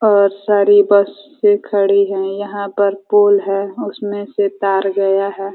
बहोत सारी बसें खड़ी हैं। यहाँ पर पोल है। उसमें से तार गया है।